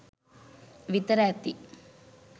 විතර ඇති